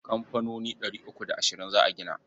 Kamfanoni ɗari uku da ashirin za a gina.